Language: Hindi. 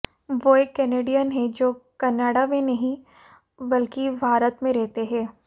वो एक कैनेडियन हैं जो कनाडा में नहीं बल्कि भारत में रहते हैं